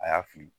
A y'a fili